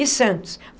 E Santos.